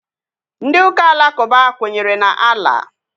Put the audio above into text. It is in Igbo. Ndị ụka alakụba kwenyere na Allah